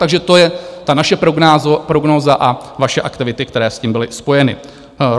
Takže to je ta naše prognóza a vaše aktivity, které s tím byly spojeny.